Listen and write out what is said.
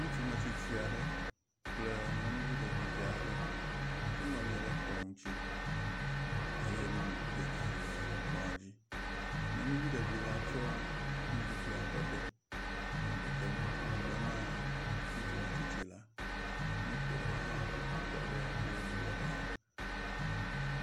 Ŋutsu 'metsitsi aɖe kple nyɔnuvi ɖevi aɖe wonɔnyi ɖe kplɔ ŋuti eye nuɖuɖu geɖe le kple la dzi. Nyɔnuvi ɖevi la tsɔ nuɖuɖua ƒe ɖe nɔ dedem nume na ŋutsu metsitsi la, moto aɖe hã tɔ ɖe wo ŋgɔ ɖaa.